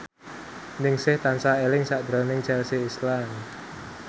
Ningsih tansah eling sakjroning Chelsea Islan